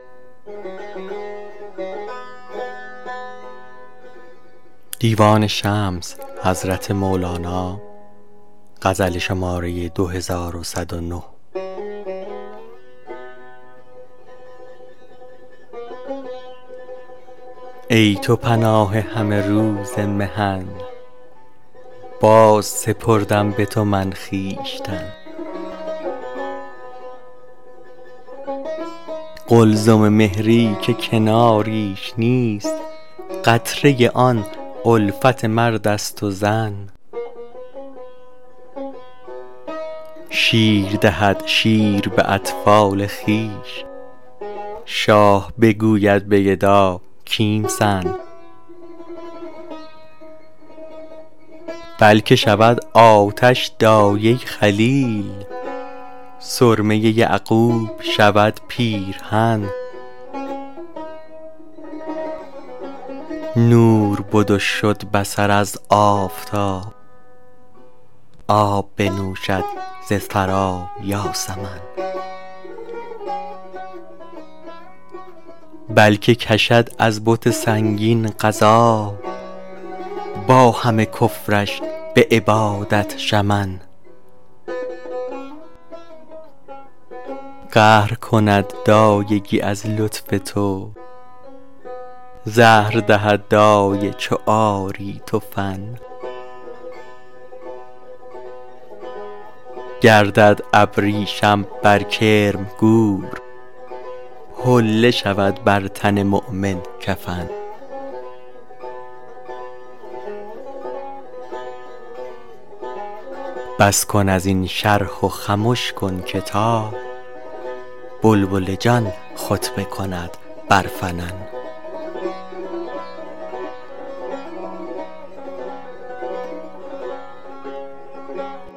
ای تو پناه همه روز محن بازسپردم به تو من خویشتن قلزم مهری که کناریش نیست قطره آن الفت مرد است و زن شیر دهد شیر به اطفال خویش شاه بگوید به گدا کیمسن بلک شود آتش دایه خلیل سرمه یعقوب شود پیرهن نور بد و شد بصر از آفتاب آب بنوشد ز ثری یاسمن بلک کشد از بت سنگین غذا با همه کفرش به عبادت شمن قهر کند دایگی از لطف تو زهر دهد دایه چو آری تو فن گردد ابریشم بر کرم گور حله شود بر تن مؤمن کفن بس کن از این شرح و خمش کن که تا بلبل جان خطبه کند بر فنن